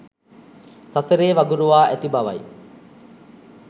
සසරේ වගුරුවා ඇති බවයි